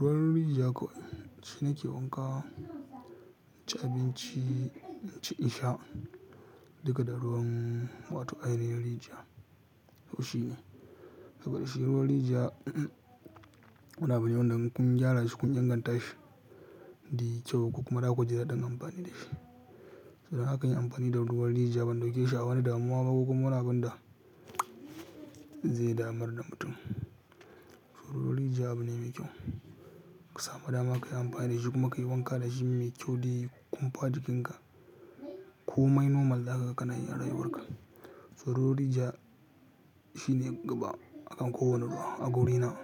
Ruwan rijiya kawai shine ke wanka, ci abinci, ci insha daga da ruwan wato ai na rijiya. To shi ne. Daga da shi ruwan rijiya, muna amfani da kun gyara shi kun inganta shi, di kyau kuma haka da ku jira don amfani da shi. Haka ake amfani da ruwan rijiya ban da yake sha'awa ne da muwa ba ko kuma munafuka da zai damar da mutum. To ruwan rijiya abu ne mai kyau. Ka samu dama ka yi amfani da shi kuma ka yi wanka da shi mai kyau di kumfa jikinka. Komai normal zaka ganayi rayuwarka. To ruwan rijiya shine gaba akan kowane ruwa a guri na.